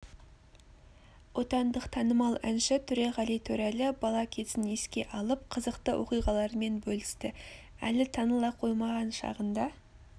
отандық танымал әнші төреғали төреәлі бала кезін еске алып қызықты оқиғаларымен бөлісті әлі таныла қоймаған шағында